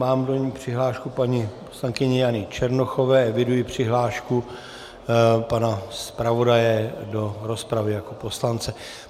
Mám do ní přihlášku paní poslankyně Jany Černochové, eviduji přihlášku pana zpravodaje do rozpravy jako poslance.